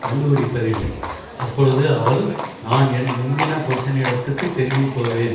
கண்டுபிடிப்பதில்லை அப்பொழுது அவள் நான் என் முந்தின புருஷனிடத்துக்குத் திரும்பிப்போவேன்